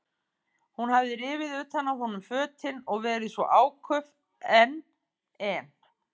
Hún hafði rifið utan af honum fötin og verið svo áköf en, en.